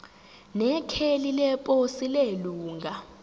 nekheli leposi lelunga